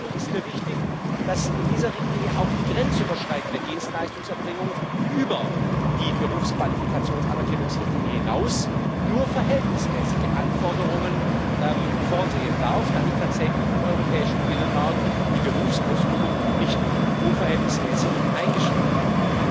Zum Zweiten ist mir wichtig, dass in dieser Richtlinie auch die grenzüberschreitende Dienstleistungserbringung über die Berufsqualifikationsanerkennungsrichtlinie hinaus nur verhältnismäßige Anforderungen vorsehen darf, damit tatsächlich im europäischen Binnenmarkt die Berufsausübung nicht unverhältnismäßig eingeschränkt wird.